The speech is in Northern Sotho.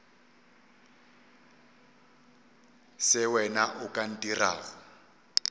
se wena o ka ntirago